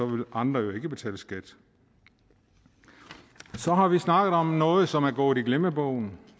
vil andre jo ikke betale skat så har vi snakket om noget som er gået i glemmebogen